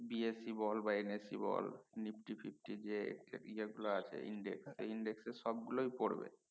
BSE বল বা NSE বল নিফটি ফিফটি যে ইয়ার গুলো আছে index এই index এর সব গুলোই পরবে